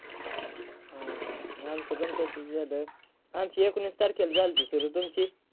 हं आमच पण तसंच झालं, आमची एकोणीस तारखेला झालती सुरू तुमची?